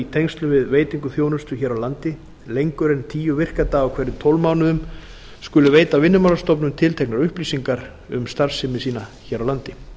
tengslum við veitingu þjónustu hér á landi lengur en tíu virka daga á hverjum tólf mánuðum skuli veita vinnumálastofnun tilteknar upplýsingar um starfsemi sína hér á landi